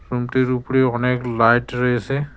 রুমটির উপরে অনেক লাইট রয়েসে।